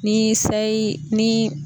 Ni sayi ni